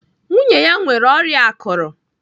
Nwunye ya nwere ọrịa akụrụ.